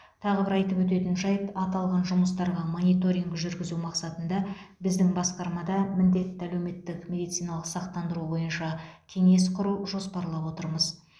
тағы бір айтып өтетін жайт аталған жұмыстарға мониторинг жүргізу мақсатында біздің басқармада міндетті әлеуметтік медициналық сақтандыру бойынша кеңес құру жоспарлап отырмыз